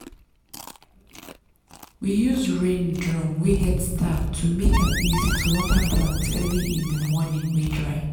we use rain drum wey get tap to make am easy to water plant early in di morning wey dry.